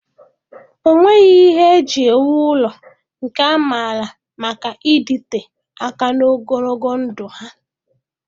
Ọ nwere ihe eji ewu ụlọ nke amara maka ịdịte aka na ogologo ndụ ha?